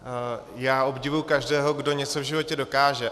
Já obdivuji každého, kdo něco v životě dokáže.